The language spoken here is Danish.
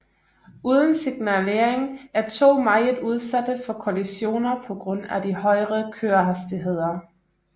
Uden signalering er tog meget udsatte for kollisioner på grund af de højre kørehastigheder